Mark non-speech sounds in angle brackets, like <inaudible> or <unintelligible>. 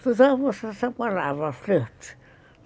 <unintelligible> flerte.